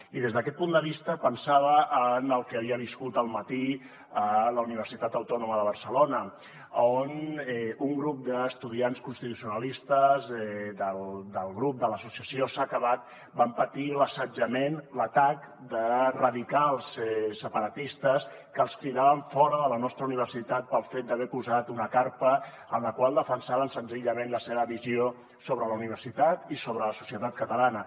i des d’aquest punt de vista pensava en el que havia viscut al matí a la universitat autònoma de barcelona on un grup d’estudiants constitucionalistes de l’associació s’ha acabat van patir l’assetjament l’atac de radicals separatistes que els cridaven fora de la nostra universitat pel fet d’haver posat una carpa en la qual defensaven senzillament la seva visió sobre la universitat i sobre la societat catalana